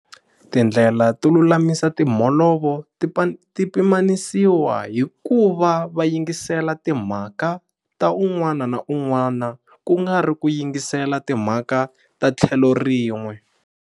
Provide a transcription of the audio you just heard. Tindlela to lulamisa timholovo ti pimanisiwa hi ku va va yingisela timhaka ta un'wana na un'wana ku nga ri ku yingisela timhaka ta tlhelo rin'we.